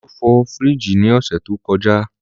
Olú fọ fríìgì ní ọ̀sẹ̀ tó kọjá.